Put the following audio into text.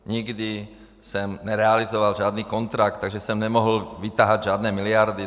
Nikdy jsem nerealizoval žádný kontrakt, takže jsem nemohl vytahat žádné miliardy.